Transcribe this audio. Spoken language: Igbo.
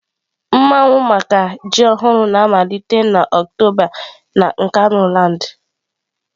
Mmawu maka ji ọhụrụ na-amalite na Oktoba na Nkanuland.